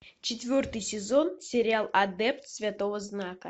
четвертый сезон сериал адепт святого знака